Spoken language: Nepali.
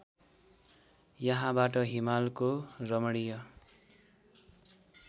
यहाँबाट हिमालको रमणीय